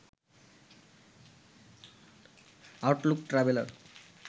Outlook traveller